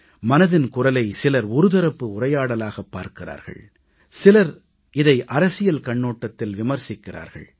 மனதின் குரலை சிலர் தரப்பு உரையாடலாகப் பார்க்கிறார்கள் சிலர் இதை அரசியல் கண்ணோட்டத்தில் விமர்சிக்கிறார்கள்